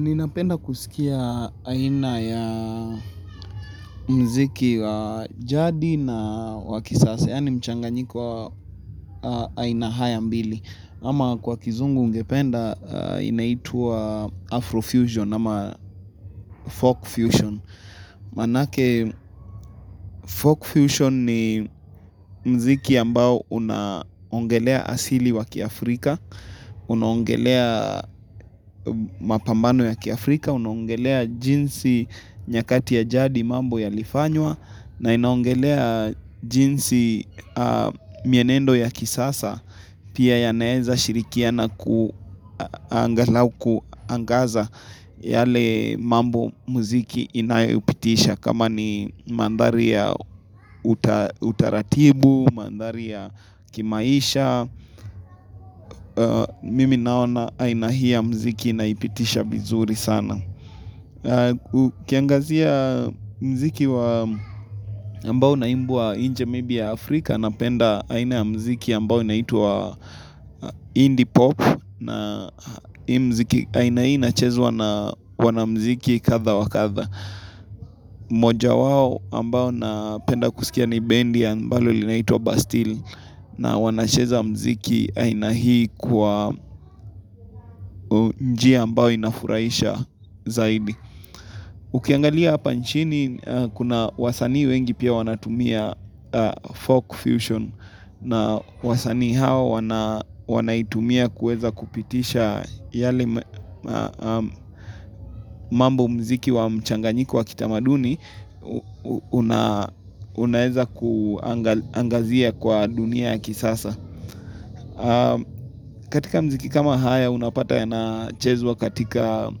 Ninapenda kusikia aina ya muziki wa jadi na wa kisasa. Yaani mchanganyiko wa aina haya mbili. Ama kwa kizungu ungependa inaitwa Afrofusion ama Folkfusion. Maanake Folkfusion ni muziki ambao unaongelea asili ya kiafrika. Unaongelea mapambano ya kiafrika. Unaongelea jinsi nyakati ya jadi mambo yalifanywa na inaongelea jinsi mienendo ya kisasa Pia yanaeza shirikiana angalau kuangaza yale mambo muziki inayopitisha kama ni mandhari ya utaratibu, mandhari ya kimaisha Mimi ninaona aina hii ya muziki naipitisha vizuri sana Ukiangazia muziki ambao unaimbwa nje maybe ya Afrika napenda aina ya muziki ambao unaitwa Indie pop na hii muziki aina hii inachezwa na wamuziki kadha wa kadha moja wao ambao napenda kusikia ni bendi ambalo linaitwa Bastille na wanacheza muziki aina hii kwa njia ambao inafurahisha zaidi Ukiangalia hapa nchini kuna wasanii wengi pia wanatumia folk fusion na wasanii hawa wanaitumia kuweza kupitisha yale mambo muziki wa mchanganyiko wa kitamaduni unaweza kuangazia kwa dunia ya kisasa. Katika muziki kama haya unapata yanachezwa katika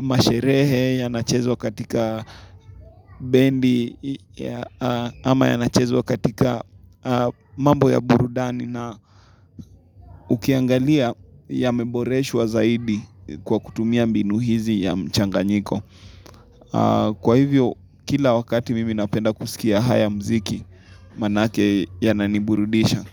masherehe yanachezwa katika bendi Ama yanachezwa katika mambo ya burudani na ukiangalia yameboreshwa zaidi kwa kutumia mbinu hizi ya mchanganyiko Kwa hivyo kila wakati mimi napenda kusikia haya muziki maanake yananiburudisha.